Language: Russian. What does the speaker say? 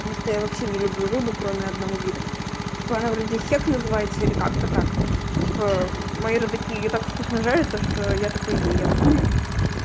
потому что я вообще не люблю рыбу кроме одного вида типа она вроде хек называется или как-то так типа мои родаки её так вкусно жарят то что я только её ем